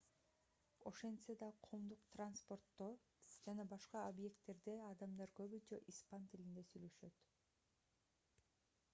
ошентсе да коомдук транспорттодо жана башка объекттерде адамдар көбүнчө испан тилинде сүйлөшөт